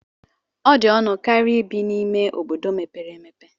Ọ dị ọnụ karịa ibi n'ime ime obodo mepere emepe.